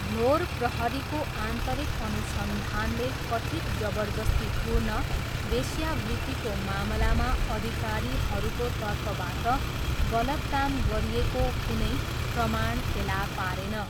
भ्लोर प्रहरीको आन्तरिक अनुसन्धानले कथित् जबरजस्तीपूर्ण वेश्यावृत्तिको मामलामा अधिकारीहरूको तर्फबाट गलत काम गरिएको कुनै प्रमाण फेला पारेन।